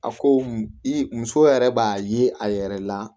A ko i muso yɛrɛ b'a ye a yɛrɛ la